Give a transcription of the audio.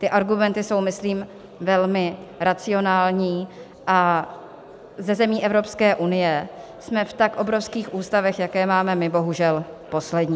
Ty argumenty jsou myslím velmi racionální a ze zemí Evropské unie jsme v tak obrovských ústavech, jaké máme my, bohužel poslední.